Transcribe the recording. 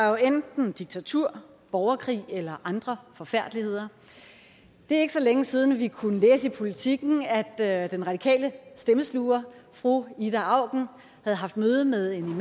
jo enten diktatur borgerkrig eller andre forfærdeligheder det er ikke så længe siden at vi kunne læse i politiken at den radikale stemmesluger fru ida auken havde haft møde med en